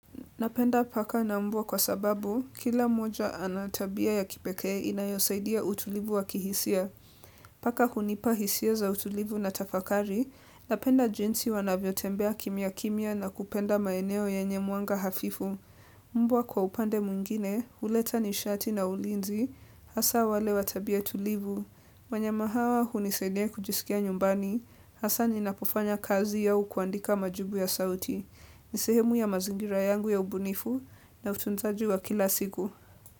Napenda paka na mbwa kwa sababu, kila moja ana tabia ya kipekee inayosaidia utulivu wa kihisia. Paka hunipa hisia za utulivu na tafakari, napenda jinsi wanavyotembea kimya kimya na kupenda maeneo yenye mwanga hafifu. Mbwa kwa upande mwingine, huleta nishati na ulinzi, hasa wale wa tabia tulivu. Wanyama hawa hunisaidia kujisikia nyumbani, hasa ninapofanya kazi au kuandika majibu ya sauti. Ni sehemu ya mazingira yangu ya ubunifu na utunzaji wa kila siku.